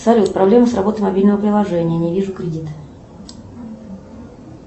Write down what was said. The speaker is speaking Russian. салют проблема с работой мобильного приложения не вижу кредит